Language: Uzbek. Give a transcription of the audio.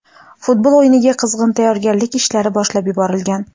Futbol o‘yiniga qizg‘in tayyorgarlik ishlari boshlab yuborilgan.